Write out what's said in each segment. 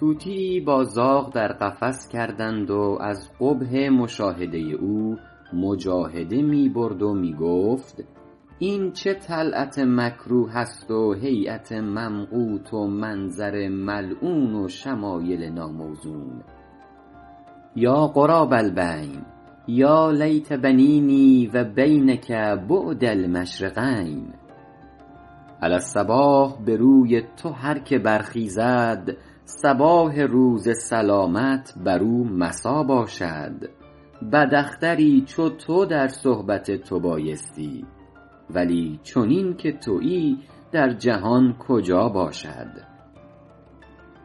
طوطیی با زاغ در قفس کردند و از قبح مشاهده او مجاهده می برد و می گفت این چه طلعت مکروه است و هیأت ممقوت و منظر ملعون و شمایل ناموزون یا غراب البین یا لیت بینی و بینک بعد المشرقین علی الصباح به روی تو هر که برخیزد صباح روز سلامت بر او مسا باشد بد اختری چو تو در صحبت تو بایستی ولی چنین که تویی در جهان کجا باشد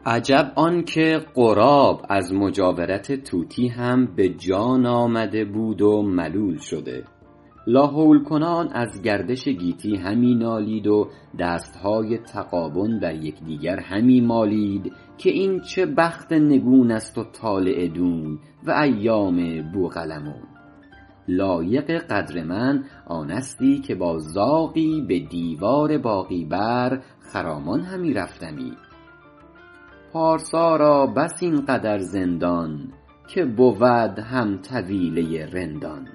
عجب آن که غراب از مجاورت طوطی هم به جان آمده بود و ملول شده لاحول کنان از گردش گیتی همی نالید و دستهای تغابن بر یکدگر همی مالید که این چه بخت نگون است و طالع دون و ایام بوقلمون لایق قدر من آنستی که با زاغی به دیوار باغی بر خرامان همی رفتمی پارسا را بس این قدر زندان که بود هم طویله رندان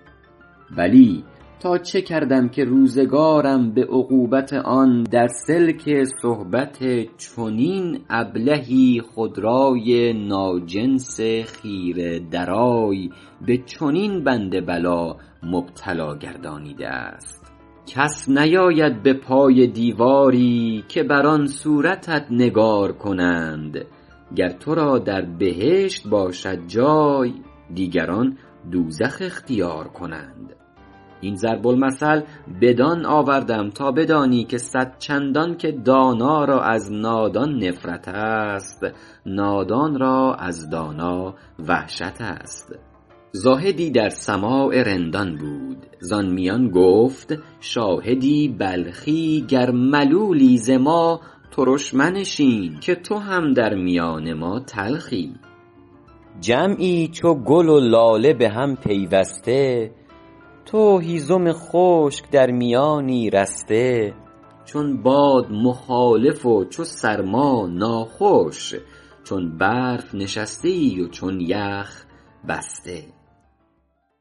بلی تا چه کردم که روزگارم به عقوبت آن در سلک صحبت چنین ابلهی خودرای ناجنس خیره درای به چنین بند بلا مبتلا گردانیده است کس نیاید به پای دیواری که بر آن صورتت نگار کنند گر تو را در بهشت باشد جای دیگران دوزخ اختیار کنند این ضرب المثل بدان آوردم تا بدانی که صدچندان که دانا را از نادان نفرت است نادان را از دانا وحشت است زاهدی در سماع رندان بود زآن میان گفت شاهدی بلخی گر ملولی ز ما ترش منشین که تو هم در میان ما تلخی جمعی چو گل و لاله به هم پیوسته تو هیزم خشک در میانی رسته چون باد مخالف و چو سرما ناخوش چون برف نشسته ای و چون یخ بسته